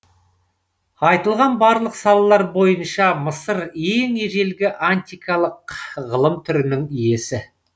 айтылған барлық салалар бойынша мысыр ең ежелгі антикалық ғылым түрінің иесі